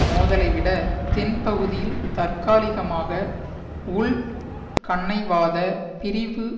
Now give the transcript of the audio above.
மோதலைவிட தென்பகுதியில் தற்காலிகமாக உள்கன்னைவாத பிரிவு